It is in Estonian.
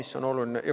See on oluline.